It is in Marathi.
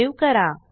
सेव्ह करा